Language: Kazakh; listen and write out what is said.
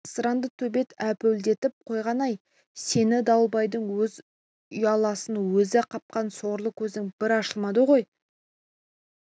асыранды төбет әупілдетіп қойғаны-ай сені дауылбайдың өз ұяласын өзі қапқан сорлы көзің бір ашылмады ғой бұл